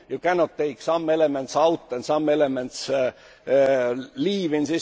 you cannot take some elements out and leave some elements